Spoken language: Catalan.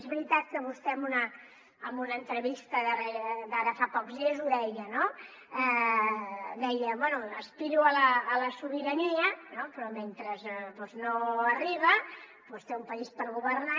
és veritat que vostè en una entrevista d’ara fa pocs dies ho deia no deia bé aspiro a la sobirania no però mentre no arriba doncs té un país per governar